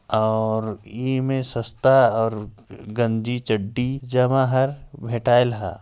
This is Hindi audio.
और इमे सस्ता और गंजी चड्डी जमा हर फिटाइल हा।